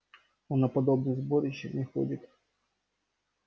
он на подобные сборища не ходит